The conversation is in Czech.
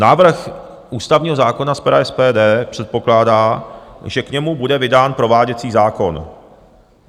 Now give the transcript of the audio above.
Návrh ústavního zákona z pera SPD předpokládá, že k němu bude vydán prováděcí zákon.